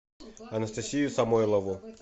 анастасию самойлову